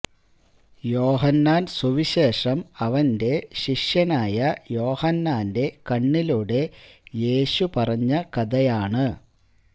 യോഹന്നാൻ സുവിശേഷം അവന്റെ ശിഷ്യനായ യോഹന്നാന്റെ കണ്ണിലൂടെ യേശു പറഞ്ഞ കഥയാണ്